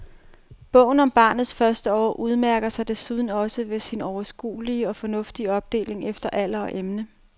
Bogen om barnets første år udmærker sig desuden også ved sin overskuelige og fornuftige opdeling efter alder og emne.